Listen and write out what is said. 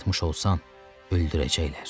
Yatmış olsan öldürəcəklər.